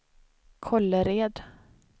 Kållered